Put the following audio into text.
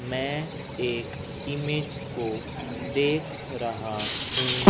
मैं एक इमेज को देख रहा हूं।